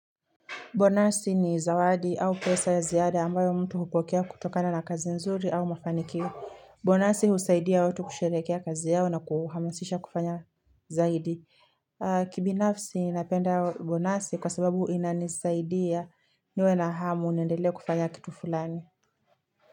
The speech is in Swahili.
Bonasi ni zawadi au pesa ya ziada ambayo mtu hupokea kutokana na kazi nzuri au mafanikio. Bonasi husaidia watu kusherehekea kazi yao na kuhamasisha kufanya zaidi. Kibinafsi napenda bonasi kwa sababu inanisaidia niwe na hamu niendelee kufanya kitu fulani.